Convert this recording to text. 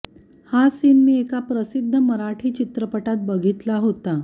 हा सीन मी एका प्रसिद्ध मराठी चित्रपटात बघितला होता